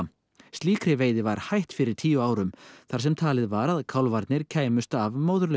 slíkri veiði var hætt fyrir tíu árum þar sem talið var að kálfarnir kæmust af